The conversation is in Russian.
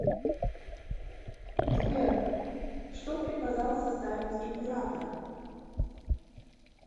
сбер что приказал составить император